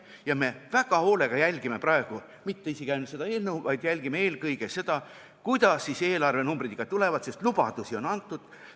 Ja me ei jälgi praegu väga hoolega mitte ainult seda eelnõu, vaid vaatame eelkõige seda, kuidas eelarvenumbrid tulevad, sest lubadusi on antud.